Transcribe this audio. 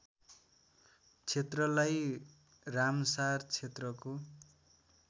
क्षेत्रलाई रामसार क्षेत्रको